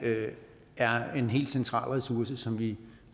er en helt central ressource som vi